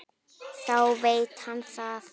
Þá veit hann það!